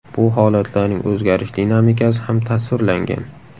Bu holatlarning o‘zgarish dinamikasi ham tasvirlangan.